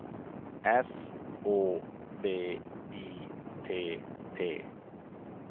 S Å V I T T